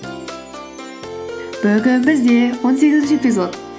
бүгін бізде он сегізінші эпизод